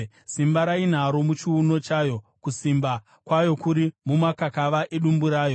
Simba rainaro muchiuno chayo, kusimba kwayo kuri mumakakava edumbu rayo.